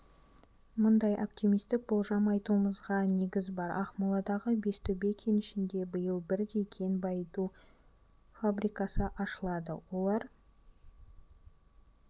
мұндай оптимистік болжам айтуымызға негіз бар ақмоладағы бестөбе кенішінде биыл бірдей кен байыту фабрикасы ашылады олар